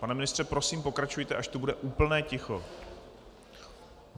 Pane ministře, prosím pokračujte, až tu bude úplné ticho.